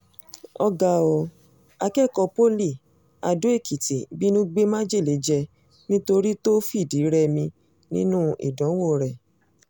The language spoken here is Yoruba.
ó ga ọ́ akẹ́kọ̀ọ́ poli ado-ekìtì bínú gbé májèlé jẹ nítorí tó fìdí-rẹmi nínú ìdánwò rẹ̀